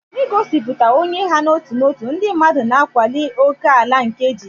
N'igosipụta onye ha n'otu n'otu, ndị mmadụ na-akwali ókèala nke ejiji.